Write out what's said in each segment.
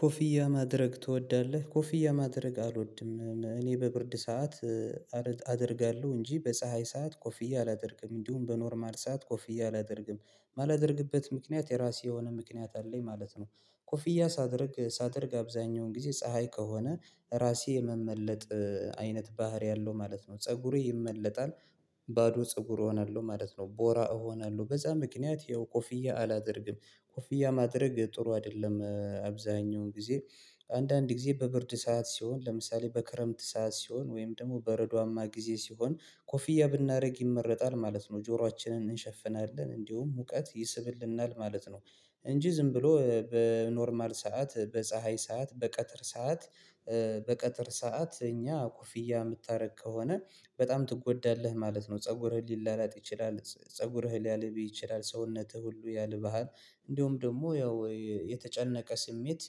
ኮፍያ ማድረግ ትወዳለህ? ኮፍያ ማድረግ አልወድም እኔ በብርድ ሰዓት አደርጋለሁ እንጂ በፀሀይ ሰዓት ኮፍዬ አላደርግም እንዲሁም በኖርማል ሰዓት ኮፍዬ አላደርግም ማላደርግበት ምክንያት የራሴ የሆነ ምክንያት አለኝ ማለት ነው። ኮፍያ ሳደርግ ሳደርግ አብዛኛውን ጊዜ ፀሀይ ከሆነ ራሴ የመመለጥ አይነት ባህሪ አለው ማለት ነው ፀጉሩ ይመለጣል ባዶ ፀጉር እሆናለሁ ማለት ነው። ቦራ እሆናለሁ በዛ ምክንያት ይኸው ኮፍያ አላደርግም ኮፍያ ማድረግ ጥሩ አይደለም አብዛኛውን ጊዜ አንዳንድ ጊዜ በብርድ ሰዓት ሲሆን ለምሳሌ በክረምት ሰዓት ሲሆን ወይም ደግሞ በረዷማ ጊዜ ሲሆን ኮፍያ ብናደርግ ይመረጣል ማለት ነው ጆሯችንን እንሸፍናለን እንዲሁም ሙቀት ይስብልናል ማለት ነው። እንጂ ዝም ብሎ በኖርማል ሰዓት በፀሀይ ሰዓት በቀትር ሰዓት በቀትር ሰዓት እኛ ኮፍያ የምታደርግ ከሆነ በጣም ትጎዳለህ ማለት ነው ፀጉርህ ሊላላጥ ይችላል ፀጉርህን ሊያልብህ ይችላል ሰውነትህ ሁሉ ያልባል። እንደውም ደግሞ ያው የተጨነቀ ስሜት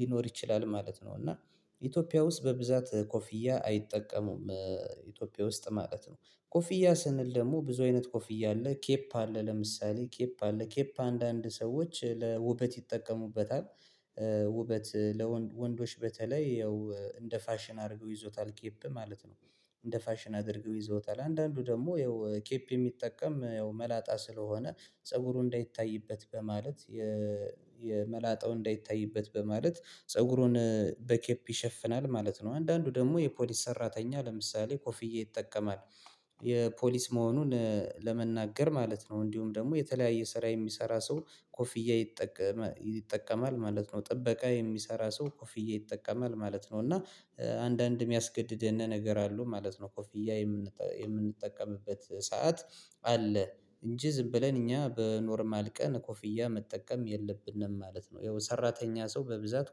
ሊኖር ይችላል ማለት ነው እና ኢትዮጵያ ውስጥ በብዛት ኮፍያ አይጠቀሙም። ኢትዮጵያ ውስጥ ማለት ነው ኮፍያ ስንል ደግሞ ብዙ አይነት ኮፍያ አለ ኬፕ አለ ለምሳሌ ኬፕ አለ ኬፕ አንዳንድ ሰዎች ለውበት ይጠቀሙበታል። ውበት ለወንዶች በተለይ ያው እንደ ፋሽን አድርገው ይይዛታል ኬፕ ማለት ነው። እንደ ፋሽን አድርገው ይዘዉታል አንዳንዱ ደግሞ ያው ኬፕ የሚጠቀም ያው መላጣ ስለሆነ ፀጉሩ እንዳይታይበት በማለት የ የመላጣው እንዳይታይበት በማለት ፀጉሩን በኬፕ ይሸፍናል ማለት ነው። አንዳንዱ ደግሞ የፖሊስ ሰራተኛ ለምሳሌ ኮፍያ ይጠቀማል። የፖሊስ መሆኑን ለመናገር ማለት ነው እንዲሁም ደግሞ የተለያየ ስራ የሚሰራ ሰው ኮፊያ ይጠቀማል ማለት ነው። ጥበቃ የሚሰራ ሰው ኮፍያ ይጠቀማል ማለት ነው። እና አንዳንድ የሚያስገድደን ነገር አሉ ማለት ነው ኮፊያ የምንጠቀምበት ሰዓት አለ እንጂ ዝም ብለን እኛ በኖርማል ቀን ኮፍያ መጠቀም የለብንም ማለት ነው። ያው ሰራተኛ ሰው በብዛት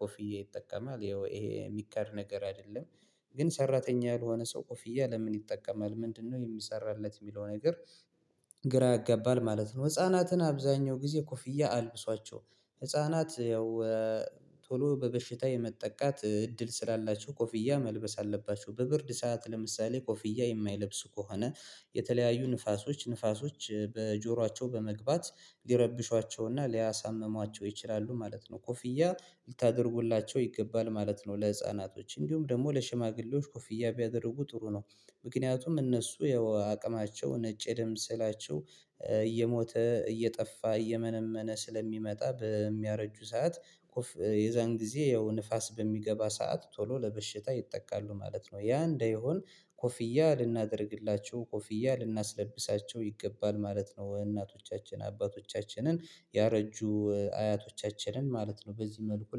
ኮፍያ ይጠቀማል ይሄ የሚቀር ነገር አይደለም። ግን ሰራተኛ ያልሆነ ሰው ኮፍያ ለምን ይጠቀማል ምንድነው የሚሰራለት የሚለው ነገር? ግራ ያጋባል ማለት ነው። ህፃናትን አብዛኛው ጊዜ ኮፍያ አልብሷቸው ህፃናት ያው ቶሎ በበሽታ የመጠቃት እድል ስላላቸው ኮፍያ መልበስ አለባቸው በብርድ ሰዓት ለምሳሌ ኮፍያ የማይለብስ ከሆነ የተለያዩ ንፋሶች ንፋሶች በጆሯቸው በመግባት ሊረብሿቸው እና ሊያሳምሟቸው ይችላሉ ማለት ነው ኮፍያ ልታደርጉላቸው ይገባል ማለት ነው። ለህፃናቶች እንዲሁም ደግሞ ለሽማግሌዎች ኮፍያ ቢያደርጉ ጥሩ ነው። ምክንያቱም እነሱ ያው አቅማቸው ነጭ ደም ሴላቸው እየሞተ እየጠፋ እየመነመነ ስለሚመጣ በሚያረጁ ሰዓት የዛን ጊዜ ያው ንፋስ በሚገባ ሰዓት ቶሎ ለበሽታ ይጠቃሉ ማለት ነው ያ እንደሆን ኮፍያ ልናደርግላቸው ኮፍያ ልናስለብሳቸው ይገባል ማለት ነው። እናቶቻችን አባቶቻችንን ያረጁ አያቶቻችንን ማለት ነው በዚህ መልኩ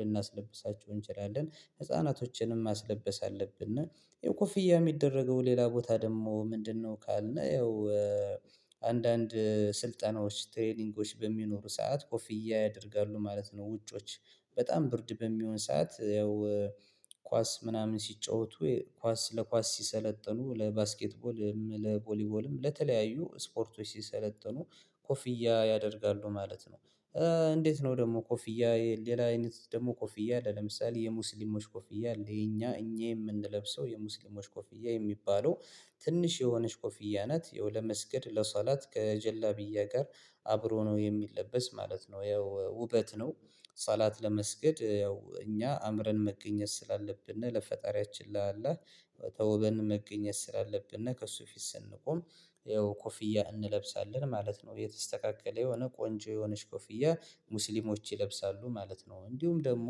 ልናስለብሳቸው እንችላለን ህፃናቶችንም ማስለበስ አለብን። ያው ኮፍያ የሚደረገው ሌላ ቦታ ደግሞ ምንድነው? ካልነ ያው አንዳንድ ስልጠናዎች ትሬዲንጎች በሚኖሩ ሰዓት ኮፊያ ያደርጋሉ ማለት ነው። ውጮች በጣም ብርድ በሚሆን ሰዓት ያው ኳስ ምናምን ሲጫወቱ ኳስ ለኳስ ሲሰለጥኑ ለባስኬትቦልም ለቦሊቦልም ለተለያዩ ስፖርቶች ሲሰለጥኑ ኮፍያ ያደርጋሉ ማለት ነው። እንዴት ነው? ደግሞ ኮፍያ ሌላ አይነት ደግሞ ኮፍያ አለ ለምሳሌ የሙስሊሞች ኮፊያ የኛ እኛ የምንለብሰው የሙስሊሞች ኮፊያ የሚባለው ትንሽ የሆነች ኮፍያ ናት የው መስገድ ለሰውላት ከጀላቢያ ጋር አብሮ ነው የሚለበስ ማለት ነው። ያው ውበት ነው ሰላት ለመስገድ ያው እኛ አምረን መገኘት ስላለብን እና ለፈጣሪያችን ለአላህ ተውበን መገኘት ስላለብን እና ከእሱ ፊት ስንቆም ያው ኮፍያ እንለብሳለን ማለት ነው። የተስተካከለ የሆነ ቆንጆ የሆነች ኮፍያ ሙስሊሞች ይለብሳሉ ማለት ነው። እንዲሁም ደግሞ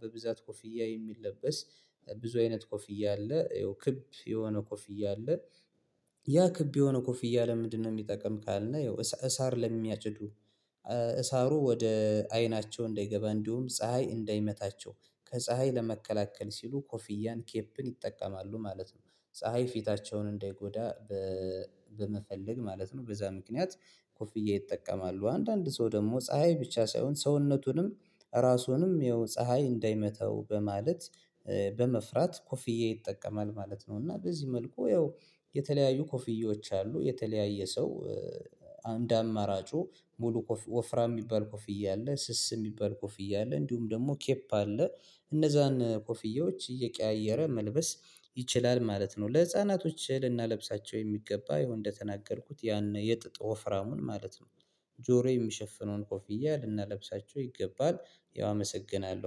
በብዛት ኮፍያ የሚለበስ ብዙ አይነት ኮፍያ አለ ክብ የሆነ ኮፍያ አለ። ያ ክብ የሆነ ኮፍያ ለምንድነው የሚጠቅም ካልነው? ያው እሳር ለሚያቸዱ ያ ክብ የሆነ ኮፍያ ለምንድነው የሚጠቅም ካልነው? ያው እሳር ለሚያጭዱ በመፈለግ ማለት ነው በዛ ምክንያት ኮፍያ ይጠቀማሉ አንዳንድ ሰው ደግሞ ፀሀይ ብቻ ሳይሆን ሰውነቱንም ራሱንም ያው ፀሀይ እንዳይመተው በማለት በመፍራት ኮፍዬ ይጠቀማል ማለት ነው። እና በዚህ መልኩ ያው የተለያዩ ኮፍዬዎች አሉ። የተለያየ ሰው አንድ አማራጩ ሙሉ ወፍራም የሚባል ኮፍዬ አለ ስስ የሚባል ኮፍያ አለ እንዲሁም ደግሞ ኬፕ አለ እነዛን ኮፍያዎች እየቀያየረ መልበስ ይችላል ማለት ነው። ለህፃናቶች ልናለብሳቸው የሚገባ ያው እንደተናገርኩት ያን የጥጥ ወፍራሙን ማለት ነው ጆሮ የሚሸፍነውን ኮፍያ ልናለብሳቸው ይገባል። ያው አመሰግናለሁ